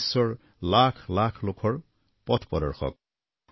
যি বিশ্বৰ লাখ লাখ লোকৰ পথ প্ৰদৰ্শক